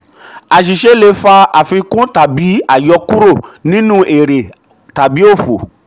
àṣìṣe le fa àfikún tàbí um àyọkúrò nínú èrè òfò.